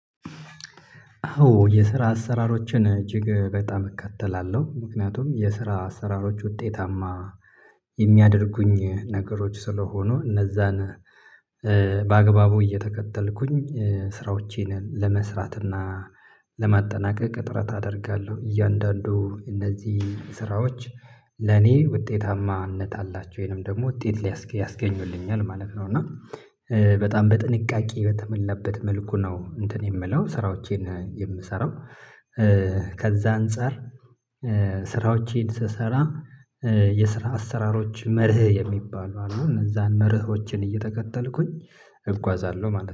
አዎ የስራ አሰራሮችን እጅግ በጣም እከተላለሁ ምክንያቱም የስራ አሰራሮች ውጤታማ የሚያደርጉኝ ነገሮች ስለሆኑ እነዚያን በአግባቡ እየተከተልኩኝ ስራዎቼን ለመስራትና ለማጠናቀቅ ጥረት አደርጋለሁ። እያንዳንዱ እነዚህ ስራዎች ለኔ ውጤታማነት አላቸው ወይንም ደግሞ ውጤት ያስገኙልኛል ማለት ነው። እና በጣም በጥንቃቄ በተሞለበት መልኩ ነው እንትን የምለው ስራዎቼን የምሰራው። ከዚያ አንፃር ስራዎቼን ስሰራ የስራ አሰራሮች መርህ የሚባሉ አሉ እነዚያን መርሆችን እየተከተልኩኝ እጓዛለሁ። ማለት ነው